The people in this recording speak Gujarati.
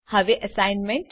હવે અસાઇનમેન્ટ